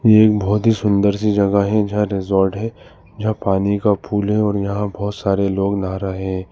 एक बहोत ही सुंदर सी जगह है जहां रिजॉर्ट है जहां पानी का फुल है और यहां बहोत सारे लोग ना रहे--